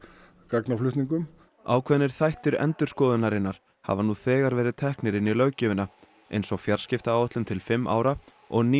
gagnaflutningum ákveðnir þættir endurskoðunarinnar hafa nú þegar verið teknir inn í löggjöfina eins og fjarskiptaáætlun til fimm ára og